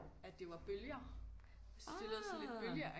At det var bølger jeg syntes det lød sådan lidt bølgeagtigt